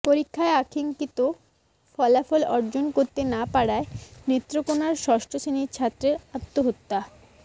পরীক্ষায় কাঙ্ক্ষিত ফলাফল অর্জন করতে না পারায় নেত্রকোনায় ষষ্ঠ শ্রেণির ছাত্রের আত্মহত্যা